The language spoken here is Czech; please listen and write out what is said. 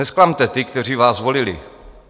Nezklamte ty, kteří vás volili.